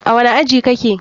A wani aji kake?